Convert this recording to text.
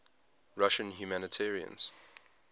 russian humanitarians